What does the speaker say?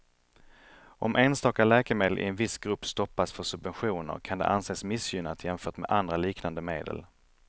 Om enstaka läkemedel i en viss grupp stoppas för subventioner kan det anses missgynnat jämfört med andra liknande medel.